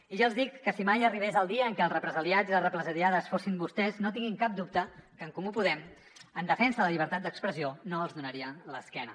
i ja els dic que si mai arribés el dia en què els represaliats i les represaliades fossin vostès no tinguin cap dubte que en comú podem en defensa de la llibertat d’expressió no els donaria l’esquena